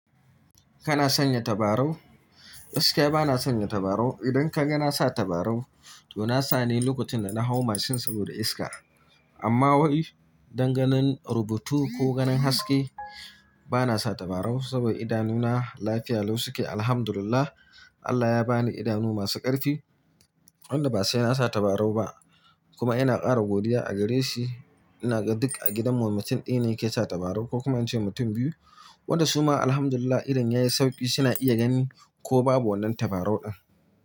Kana sanya tabarau? Gaskiya bana sanya tabarau. Idan ka ga na sa tabarau to na sa ne lokacin da na hau mashin saboda iska. Amma wai danganin rubutu ko ganin haske bana sa tabarau saboda idanuna lafiya lau suke, Alhamdulillah. Allah ya ba ni idanu masu ƙarfi wanda ba sai na sa tabarau ba kuma ina ƙara godiya a gare shi. Ina ga duk a gidan mu mutum ɗaya ne ke sa tabarau ko kuma in ce mutum biyu, wanda su ma Alhamdulillah idon ya yi sauƙi suna iya gani ko babu wannan tabarau din.